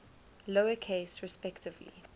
lower case respectively